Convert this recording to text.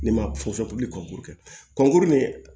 Ne ma kɔnkuru kɛ kɔnkuru min